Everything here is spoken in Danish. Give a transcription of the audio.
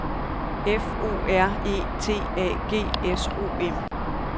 F O R E T A G S O M